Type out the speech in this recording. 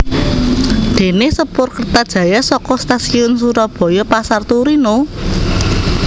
Déné sepur Kertajaya saka Stasiun Surabaya Pasar Turi No